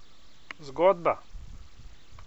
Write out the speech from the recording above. Zgodba?